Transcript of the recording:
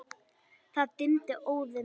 Það dimmdi óðum.